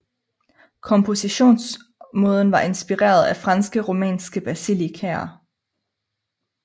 Kompositionsmåden var inspireret af franske romanske basilikaer